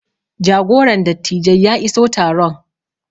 jagoran dattijai ya iso taron